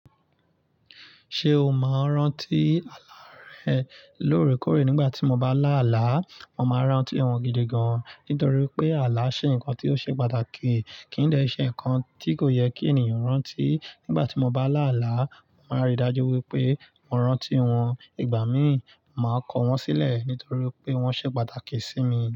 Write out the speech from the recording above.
Ṣé o máa ń rántí àlá rẹ lóòrèkóòrè nígbà tí mo bá lá àlá? Mo máa rántí òhun gidi gan nítorí pé àlá ṣe ǹkan tí ó ṣe pàtàkì, kì n dẹ́ ṣe ǹkan tí kò yẹ kí ènìyàn rántí. Nígbà tí mo bá là àlá, mo máa n rí dájú wípé mo rántí wòn. Ìgbà mí, màá kọ wọ́n sílẹ̀ nítorí pé wọ́n ṣe pàtàkì sí mi.